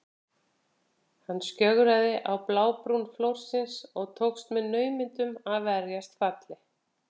Hann skjögraði á blábrún flórsins og tókst með naumindum að verjast falli.